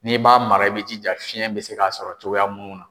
N'i b'a mara i bɛ jija fiyɛn bɛ se k'a sɔrɔ cogoya mun na.